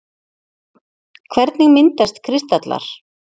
Hvernig myndast kristallar?